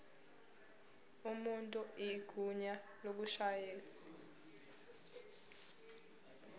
umuntu igunya lokushayela